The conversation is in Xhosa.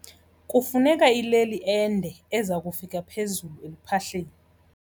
Kufuneka ileli ende eza kufika phezulu eluphahleni.